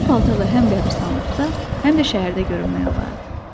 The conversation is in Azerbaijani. Bu paltarla həm qəbiristanlıqda, həm də şəhərdə görünmək olardı.